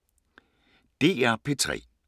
DR P3